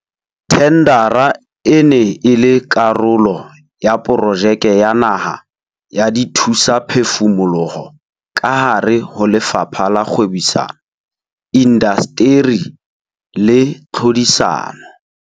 Thendara e ne e le karolo ya Projeke ya Naha ya Dithusaphefumoloho kahare ho Lefapha la Kgwebisano, Indasteri le Tlhodisano.